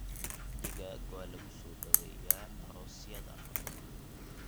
Digaag waa lagu soo dhaweeyaa aroosyada.